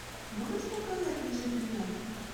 можешь показать ни жив ни мертв